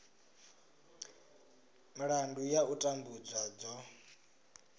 milandu ya u tambudzwa dzo